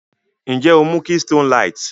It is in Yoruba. Nje o mu Keystone light?